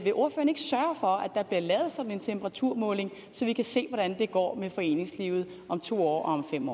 der bliver lavet sådan en temperaturmåling så vi kan se hvordan det går med foreningslivet om to år og om fem